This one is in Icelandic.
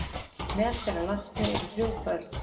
Meðal þeirra látnu eru þrjú börn